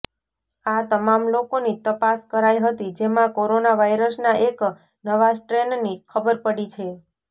આ તમામ લોકોની તપાસ કરાઇ હતી જેમાં કોરોના વાયરસના એક નવા સ્ટ્રેનની ખબર પડી છે